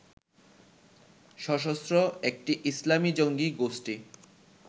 সশস্ত্র একটি ইসলামী জঙ্গী গোষ্ঠি